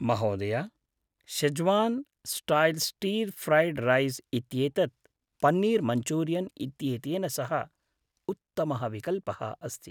महोदय, Schezwan style stir fried rice इत्येतद् paneer Manchurian इत्येतेन सह उत्तमः विकल्पः अस्ति।